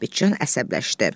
Sabitcan əsəbləşdi.